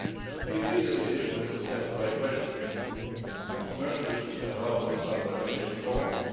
We agree that the initiative was a step in the right direction and commercial issues cannot always be solved by regulation alone.